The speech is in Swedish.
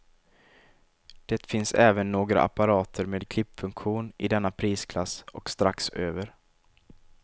Det finns även några apparater med klippfunktion i denna prisklass och strax över.